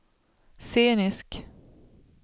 scenisk